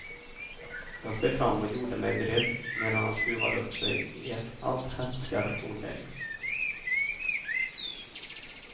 Jag steg fram och gjorde mig beredd medan han skruvade upp sig i ett allt hätskare tonläge.